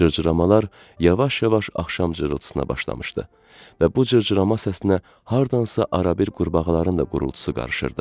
Cırcıramalar yavaş-yavaş axşam cırıltısına başlamışdı və bu cırcırama səsinə hardansa arabir qurbağaların da qurultusu qarışırdı.